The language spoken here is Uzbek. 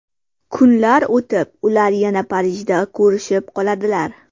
Kunlar o‘tib, ular yana Parijda ko‘rishib qoladilar.